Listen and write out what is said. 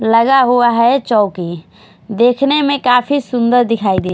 लगा हुआ है चौकी देखने मे काफी सुंदर दिखाई दे--